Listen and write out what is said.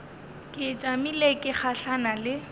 ke tšamile ke gahlana le